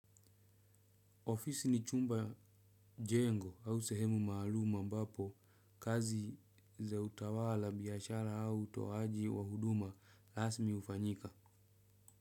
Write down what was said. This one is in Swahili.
Ofisi ni chumba jengo au sehemu maalum ambapo kazi za utawala biashara au utoaji wa huduma rasmi hufanyika.